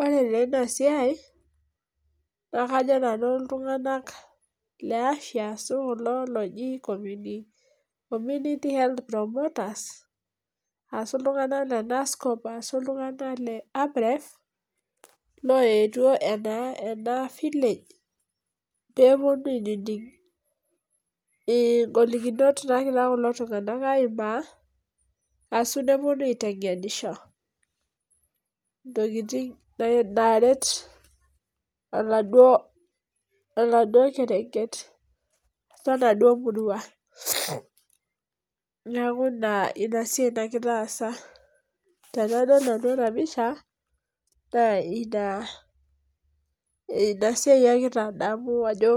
Ore taa enasiai naa kajo nanu iltunganak leafya ashu kulo loji community health promoters, ashu iltunganak lenscofa ashu iltungak leamref loetuo ena enavillage peponu aining ingolikinot nagira kulo tunganak aimaa ashu neponu aitengenisho ntokitin naret oladuo, oladuo kerenket wenaduo murua niaku ina inasiai nagira aasa . Tenadol nanu enapisha naa inasiai agira adamu ashu